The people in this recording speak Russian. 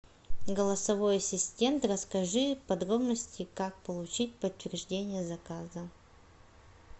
голосовой ассистент расскажи подробности как получить подтверждение заказа